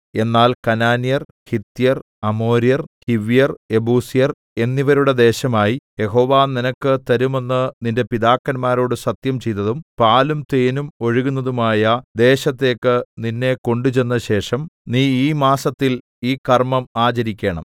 എന്നാൽ കനാന്യർ ഹിത്യർ അമോര്യർ ഹിവ്യർ യെബൂസ്യർ എന്നിവരുടെ ദേശമായി യഹോവ നിനക്ക് തരുമെന്ന് നിന്റെ പിതാക്കന്മാരോട് സത്യം ചെയ്തതും പാലും തേനും ഒഴുകുന്നതുമായ ദേശത്തേക്ക് നിന്നെ കൊണ്ടുചെന്നശേഷം നീ ഈ മാസത്തിൽ ഈ കർമ്മം ആചരിക്കണം